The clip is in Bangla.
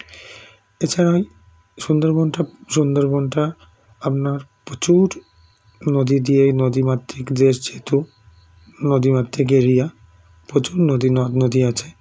BREATHE এছাড়াই সুন্দরবনটা সুন্দরবনটা আপনার প্রচুর নদী দিয়ে নদীমাতৃক দেশ যেহেতু নদীমাতৃক এড়িয়া প্রচুর নদী নদনদী আছে